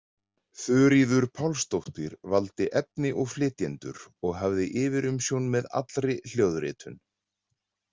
Þuríður Pálsdóttir valdi efni og flytjendur og hafði yfirumsjón með allri hljóðritun.